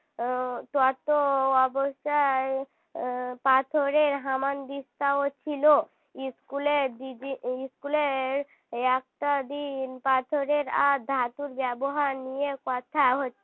উম তত অবস্থায় পাথরের হামানদিস্তা ও ছিল school এর দিদি school এর একটা দিন পাথরের আর ধাতুর ব্যবহার নিয়ে কথা হচ্ছিল